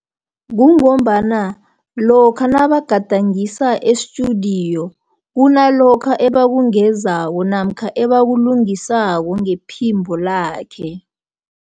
Kungombana lokha nabagadangisa esitudiyo, kunalokha ebakungezayo, namkha ebakulungisako ngephimbo lakhe.